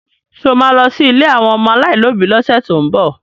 Ṣé o ma lọ sí ilé àwọn ọmọ aláìlóbi lọ́sẹ̀ tó ń bọ̀?